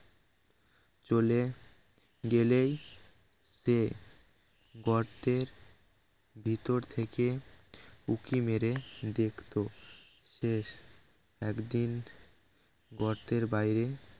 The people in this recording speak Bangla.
চলে গেলেই সে গর্তের ভিতর থেকে উঁকি মেরে দেখতো একদিন গর্তের বাইরে